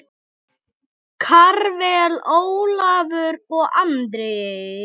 Karvel, Ólafur og Andri.